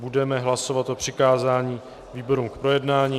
Budeme hlasovat o přikázání výborům k projednání.